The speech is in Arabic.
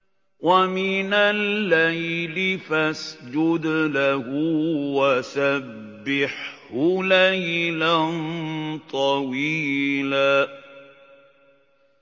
وَمِنَ اللَّيْلِ فَاسْجُدْ لَهُ وَسَبِّحْهُ لَيْلًا طَوِيلًا